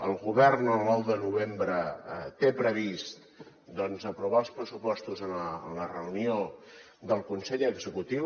el govern el nou de novembre té previst doncs aprovar els pressupostos a la reunió del consell executiu